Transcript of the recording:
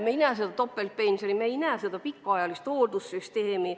Meil ei ole topeltpensioni, meil ei ole pikaajalise hoolduse süsteemi.